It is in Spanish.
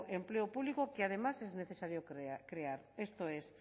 empleo público que además es necesario crear esto es